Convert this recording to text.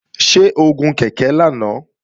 Ṣé o gun ọ̀kadà lánàá?